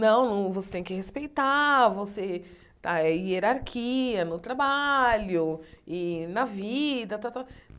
Não, você tem que respeitar você a hierarquia no trabalho e na vida tal tal.